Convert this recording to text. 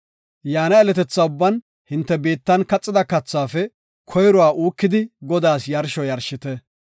Yeletetha ubban hinte biittan kaxida kathaafe koyruwa uukidi Godaas yarsho yarshite.